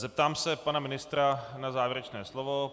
Zeptám se pana ministra na závěrečné slovo.